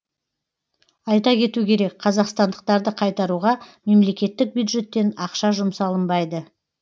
айта кету керек қазақстандықтарды қайтаруға мемлекеттік бюджеттен ақша жұмсалынбайды